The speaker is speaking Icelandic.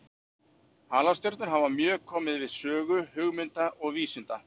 Halastjörnur hafa mjög komið við sögu hugmynda og vísinda.